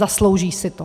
Zaslouží si to.